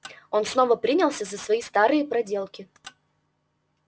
он снова принялся за свои старые проделки